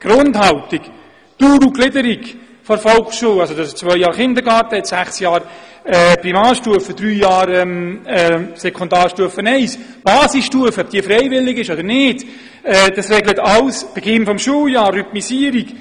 Die Grundhaltung; die Dauer und die Gliederung der Volksschule, also 2 Jahre Kindergarten, 6 Jahre Primarstufe, 3 Jahre Sekundarstufe I; ob die Basisstufe freiwillig ist oder nicht; den Beginn des Schuljahres; die Rhythmisierung;